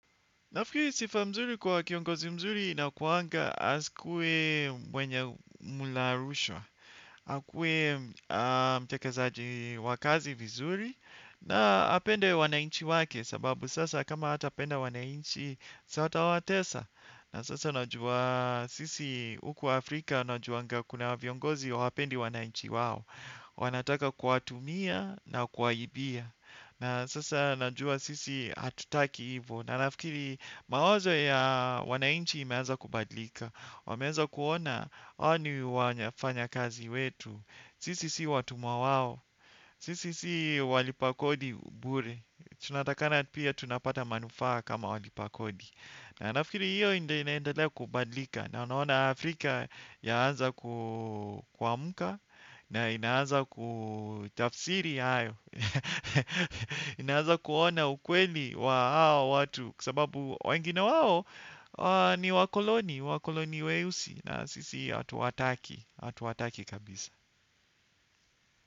Nafikiri sifa nzuri kwa kiongozi mzuri inakuanga asikue mwenye mula rushwa. Akuwe mtekezaji wa kazi vizuri na apende wanainchi wake sababu sasa kama hatapenda wanainchi si ata watesa. Na sasa najua sisi huku Afrika na juanga kuna viongozi hawapendi wanainchi wao. Wanataka kuwatumia na kuwaibia. Na sasa najua sisi hatutaki hivyo. Na nafikiri mawazo ya wanainchi imeanza kubadilika. Wameanza kuona hawa ni wanyafanyakazi wetu. Sisi si watumwa wao. Sisi si walipakodi bure. Tunatakana pia tunapata manufaa kama walipa kodi. Na nafikiri hiyo inda inaendele kubadlika. Na unaona Afrika yaanza ku amka. Na inaaza kutafsiri hayo. Inaanza kuona ukweli wa hao watu kwa sababu wengina wao ni wakoloni, wakoloni weusi na sisi hatuwataki, hatuwataki kabisa.